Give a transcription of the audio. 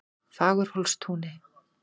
Fagurhólstúni